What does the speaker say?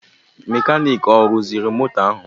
Mekaniiki ọ rụziri mọtọ ahụ?